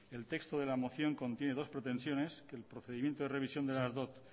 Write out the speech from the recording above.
el texto de la moción contiene dos pretensiones que el procedimiento de revisión de las dot